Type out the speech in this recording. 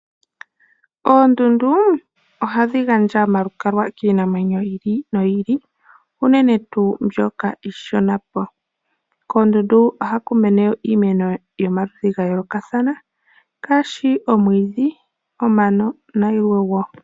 Ondundu oha dhi gandja omalukalwa kiinamweno yi ili noyi ili, unene tuu mbyoka iishona po. Koondundu oha ku mene iimeno yomaludhi ga yoolokathana ngaashi omwiidhi, omano, nayilwe wo.